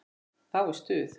Þá er stuð.